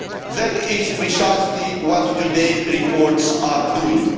That is precisely what today's reports are doing.